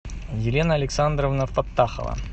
елена александровна подтахова